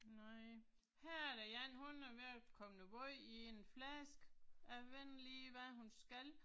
Nej. Her er der én, hun er ved at komme noget wåj i en flaske. Jeg ved ikke lige hvad hun skal